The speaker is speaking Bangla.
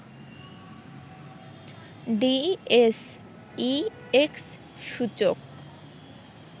ডিএসইএক্স সূচক